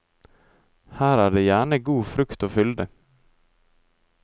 Her er det gjerne god frukt og fylde.